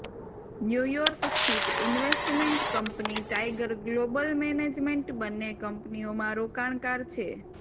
new York સ્થિત investment company Tiger Global Management બંને કંપનીઓમાં રોકાણકાર છે